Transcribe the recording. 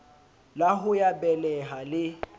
la ho ya beleha le